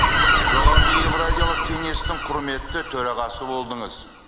жоғарғы евразиялық кеңестің құрметті төрағасы болдыңыз